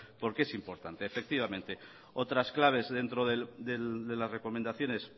porque es importante efectivamente otras claves dentro de las recomendaciones